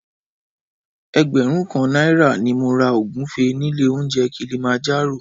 Ẹgbẹ̀rún kan náírà ni mo ra ògúfe nílé oúnjẹ Kilimanjaro